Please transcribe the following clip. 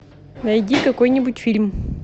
найди какой нибудь фильм